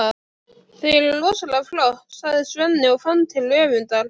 Þau eru rosalega flott, sagði Svenni og fann til öfundar.